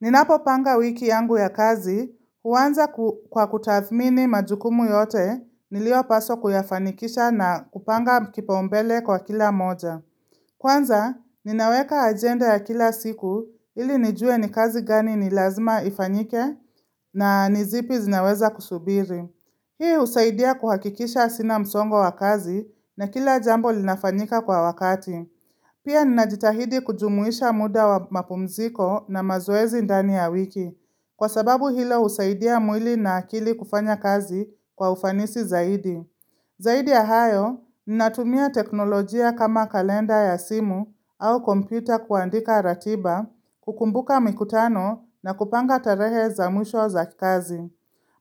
Ninapopanga wiki yangu ya kazi, huanza kwa kutathmini majukumu yote niliopaswa kuyafanikisha na kupanga kipaumbele kwa kila moja. Kwanza, ninaweka ajenda ya kila siku ili nijue ni kazi gani ni lazima ifanyike na ni zipi zinaweza kusubiri. Hii husaidia kuhakikisha sina msongo wa kazi na kila jambo linafanyika kwa wakati. Pia ninajitahidi kujumuisha muda wa mapumziko na mazoezi ndani ya wiki, kwa sababu hilo husaidia mwili na akili kufanya kazi kwa ufanisi zaidi. Zaidi ya hayo, ninatumia teknolojia kama kalenda ya simu au kompyuta kuandika ratiba, kukumbuka mikutano na kupanga tarehe za mwisho za kazi.